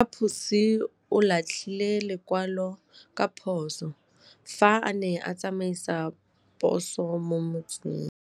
Raposo o latlhie lekwalô ka phosô fa a ne a tsamaisa poso mo motseng.